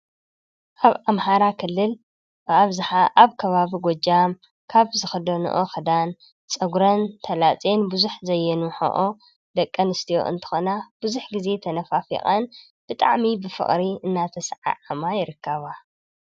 ኣብ ኣምሓራ ክልል ብኣብዝሓ ኣብ ከባቢ ጎጃም ካብ ዝክደንኦ ክዳን ፀጉረን ተላፅየን ብዙሕ ዘየንውሕኦ ደቂ ኣንስትዮ እንትኾና ብዙሕ ግዜ ተነፋፊቐን ብጣዕሚ ብፍቅሪ እናተሰዓዓማ ይርከባ፡፡